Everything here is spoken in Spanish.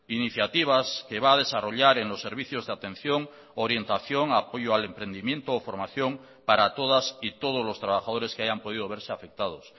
iniciativas que va a desarrollar en los servicios de atención orientación apoyo al emprendimiento o formación para todas y todos los trabajadores que hayan podido verse afectados